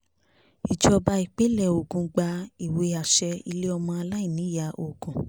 ìjọba ìpínlẹ̀ ogun gba ìwé àṣẹ ilé ọmọ aláìníyá ogun